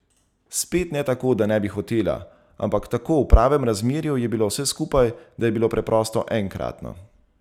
Spet ne tako, da ne bi hotela, ampak tako v pravem razmerju je bilo vse skupaj, da je bilo preprosto enkratno.